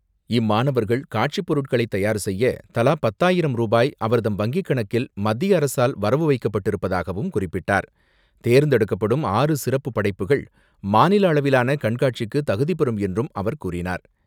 இம்மாணவர்கள் காட்சிப் பொருட்களை தயார் செய்ய தலா பத்தாயிரம் ரூபாய் அவர்தம் வங்கிக் கணக்கில் மத்திய அரசால் வரவு வைக்கப்பட்டிருப்பதாகவும் குறிப்பிட்டார். தேர்ந்தெடுக்கப்படும் ஆறு சிறப்பு படைப்புகள் மாநில அளவிலான கண்காட்சிக்கு தகுதி பெறும் என்றும் அவர் கூறினார்.